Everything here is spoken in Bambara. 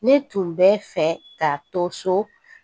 Ne tun bɛ fɛ ka to so